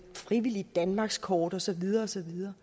frivilligt danmarkskort og så videre og så videre